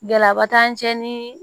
Gɛlɛyaba t'an cɛ ni